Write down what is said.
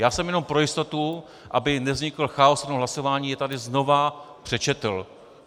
Já jsem jenom pro jistotu, aby nevznikl chaos při tom hlasování, je tady znovu přečetl.